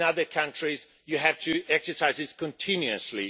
in other countries, you have to exercise this continuously.